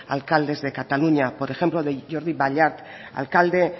alcaldes de cataluña por ejemplo de jordi ballart alcalde